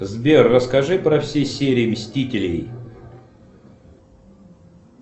сбер расскажи про все серии мстителей